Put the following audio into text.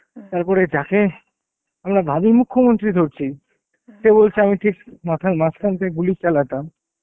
তারপর এটাকে আমরা ভাবি মুখ্যমন্ত্রী ধরছি সে বলছে আমি ঠিক মাথার মাঝখান থেকে গুলি চালাতাম,